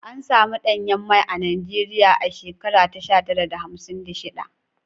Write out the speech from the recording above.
An samun danyen mai a Najeriya a shekara sha tara da hamsin da shiɗa.